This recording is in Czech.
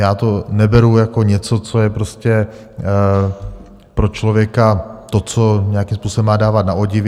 Já to neberu jako něco, co je prostě pro člověka to, co nějakým způsobem má dávat na odiv.